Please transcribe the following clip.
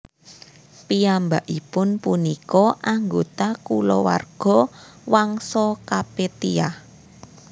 Piyambakipun punika anggota kulawarga Wangsa Kapetia